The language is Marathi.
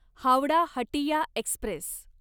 हावडा हटिया एक्स्प्रेस